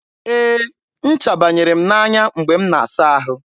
e, ncha banyere m n'anya mgbe m na-asa ahụ.